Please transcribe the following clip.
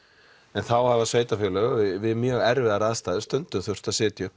en þá hafa sveitafélög við mjög erfiðar aðstæður stundum þurft að setja upp